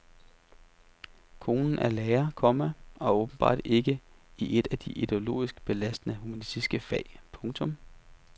Konen er lærer, komma og åbenbart ikke i et af de ideologisk belastende humanistiske fag. punktum